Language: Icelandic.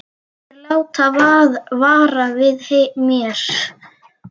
Þeir láta vara við mér.